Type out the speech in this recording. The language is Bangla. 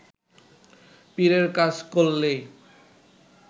পীরের কাজ করলেই